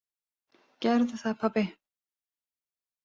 Gerðu það pabbi!